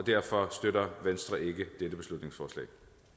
derfor støtter venstre ikke dette beslutningsforslag